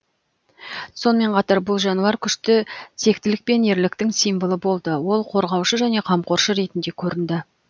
сонымен қатар бұл жануар күшті тектілік пен ерліктің символы болды ол қорғаушы және қамқоршы ретінде көрінді